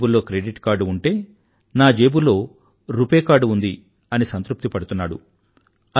వాళ్ల జేబుల్లో credit card ఉంటే నా జేబులో రుపే కార్డ్ ఉంది అని సంతృప్తి పడుతున్నాడు